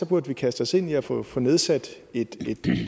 burde vi kaste os ind i at få få nedsat et